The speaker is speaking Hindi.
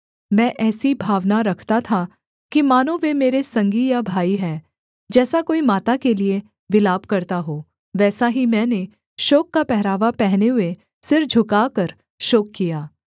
मैं ऐसी भावना रखता था कि मानो वे मेरे संगी या भाई हैं जैसा कोई माता के लिये विलाप करता हो वैसा ही मैंने शोक का पहरावा पहने हुए सिर झुकाकर शोक किया